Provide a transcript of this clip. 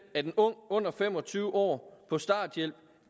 en ung under fem og tyve år på starthjælp